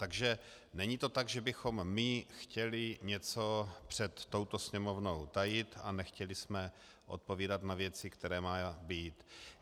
Takže není to tak, že bychom my chtěli něco před touto Sněmovnou tajit a nechtěli jsme odpovídat na věci, které mají být.